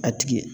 A tigi